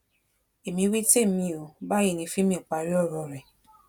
èmi wí tèmi o báyìí ní fímì parí ọrọ rẹ